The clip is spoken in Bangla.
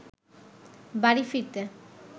বাড়ি ফিরতে